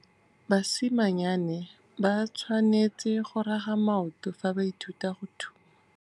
Basimanyane ba tshwanêtse go raga maoto fa ba ithuta go thuma.